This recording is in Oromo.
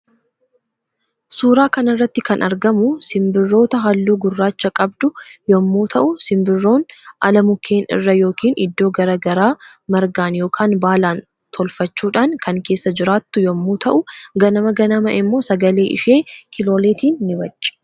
Suuraa kanarratti kan argamu simbirto halluu gurraachaa qabdu yommuu ta'u simbirton ala mukkeen irra yookiin iddoo gara garaa margaan yookaan baalan tolfachuudhan kan keessa jiraattu yommuu ta'uu ganama ganama immoo sagalee ishee kilooleetiin ni wacci.